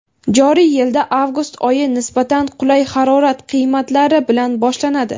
Joriy yilda avgust oyi nisbatan qulay harorat qiymatlari bilan boshlanadi.